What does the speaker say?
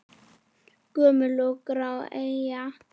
Gömul og grá eyja?